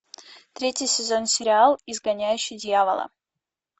третий сезон сериал изгоняющий дьявола